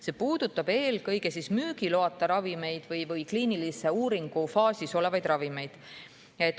See puudutab eelkõige müügiloata ravimeid või kliinilise uuringu faasis olevaid ravimeid.